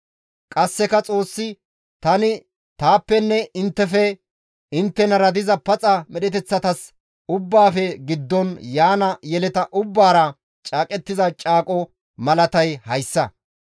Qasseka Xoossi, «Tani taappenne inttefe, inttenara diza paxa medheteththatas ubbaafe giddon yaana yeleta ubbaara caaqettiza caaqozas malatay hayssa;